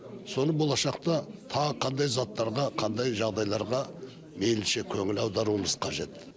соны болашақта тағы қандай заттарға қандай жағдайларға мейлінше көңіл аударуымыз қажет